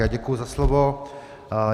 Já děkuji za slovo.